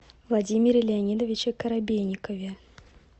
владимире леонидовиче коробейникове